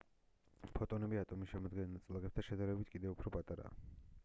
ფოტონები ატომის შემადგენელ ნაწილაკებთან შედარებით კივედ უფრო პატარაა